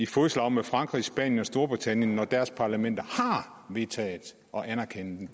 fodslag med frankrig spanien og storbritannien når deres parlamenter har vedtaget at anerkende den